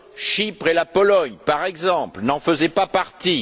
Chypre et la Pologne, par exemple, n'en faisaient pas partie.